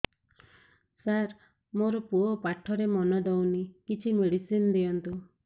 ସାର ମୋର ପୁଅ ପାଠରେ ମନ ଦଉନି କିଛି ମେଡିସିନ ଦିଅନ୍ତୁ